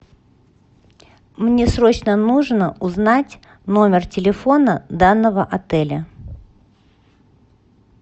мне срочно нужно узнать номер телефона данного отеля